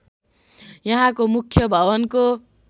यहाँको मुख्य भवनको